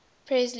presley